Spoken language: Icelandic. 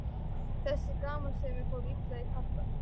Þessi gamansemi fór illa í kappann.